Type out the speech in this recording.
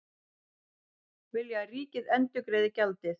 Vilja að ríkið endurgreiði gjaldið